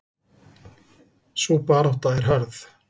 Sú barátta er hörð.